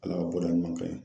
Ala ka bɔda ɲuman k'an ye